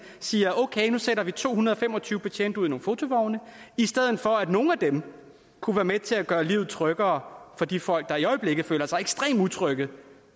siger man okay nu sætter vi to hundrede og fem og tyve betjente ud i nogle fotovogne i stedet for at nogle af dem kunne være med til at gøre livet tryggere for de folk der i øjeblikket føler sig ekstremt utrygge